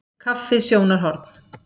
Kaffi- sjónarhorn.